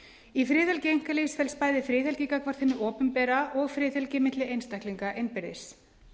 í friðhelgi einkalífs felst bæði friðhelgi gagnvart hinu opinbera og friðhelgi milli einstaklinga innbyrðis